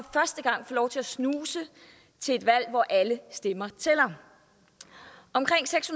lov til at snuse til et valg hvor alle stemmer tæller omkring seks